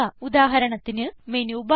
ഉദാഹരണത്തിന് menu bar